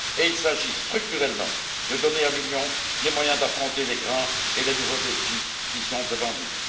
et il s'agit, structurellement, de donner à l'Union les moyens d'affronter les grands et les nouveaux défis qui sont devant nous.